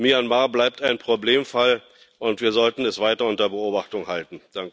Myanmar bleibt ein Problemfall, und wir sollten es weiter unter Beobachtung halten.